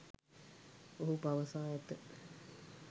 ඔහු පවසා ඇත